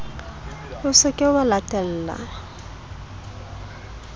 o se ke wa latella